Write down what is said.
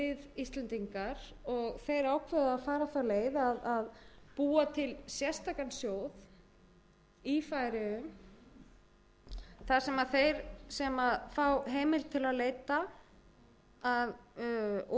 íslendingar og þeir ákváðu að fara þá leið að búa til sérstakan sjóð í færeyjum þar sem þeir sem fá heimild til að leita að